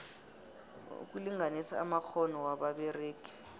ukulinganisa amakghono wababeregi